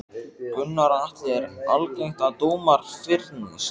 Gunnar Atli: Er algengt að dómar fyrnist?